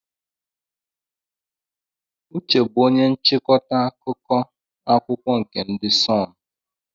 Uche bụ onye nchịkọta akụkọ akwụkwọ nke ndị de Sunụ.